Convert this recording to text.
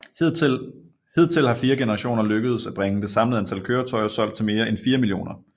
Hidtil har fire generationer lykkedes at bringe det samlede antal køretøjer solgt til mere end 4 millioner